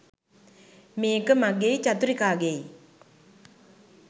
මේක මගෙයි චතුරිකාගෙයි